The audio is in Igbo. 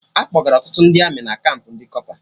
Akpọgara Ọtụtụ ndị Amị na kampụ ndị kọpa